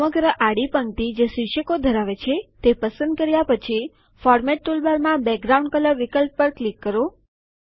સમગ્ર આડી પંક્તિ જે શિર્ષકો ધરાવે છે તે પસંદ કર્યા પછી ફોર્મેટ ટૂલબારમાં બેકગ્રાઉન્ડ કલર વિકલ્પ પર ક્લિક કરો